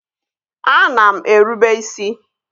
Ana m erube isi